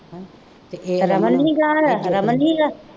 ਰਮਨ ਨਹੀਂ ਗਿਆ ਹੋਇਆ, ਰਮਨ ਨਹੀਂ ਸੀਗਾ